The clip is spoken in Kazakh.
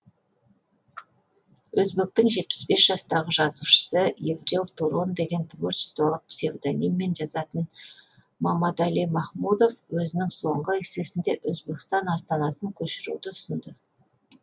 өзбектің жетпіс бес жастағы жазушысы эврил турон деген творчестволық псевдониммен жазатын мамадали махмудов өзінің соңғы эссесінде өзбекстан астанасын көшіруді ұсынды